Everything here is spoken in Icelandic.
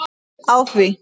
Á því